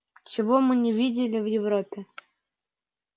чего мы не видали в европе